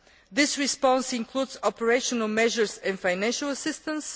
This response includes operational measures and financial assistance.